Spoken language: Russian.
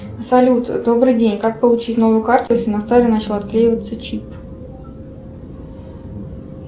салют добрый день как получить новую карту если на старой начал отклеиваться чип